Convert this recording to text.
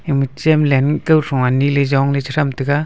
ama chamlen kawthron anyi ley jongley chethram taiga.